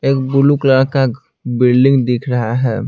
एक blue colour का building दिख रहा है।